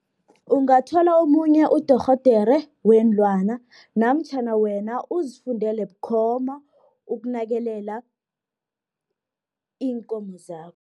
Ungathola omunye udorhodere weenlwana, namtjhana wena uzifundile bukhoma, ukunakelela iinkomo zakho.